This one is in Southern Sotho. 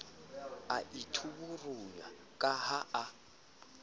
a ithaburanya ka ha a